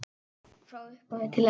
Frá upphafi til enda.